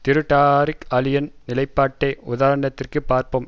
திரு டாரிக் அலியின் நிலைப்பாட்டை உதாரணத்திற்கு பார்ப்போம்